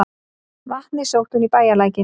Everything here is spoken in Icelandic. Vatnið sótti hún í bæjarlækinn.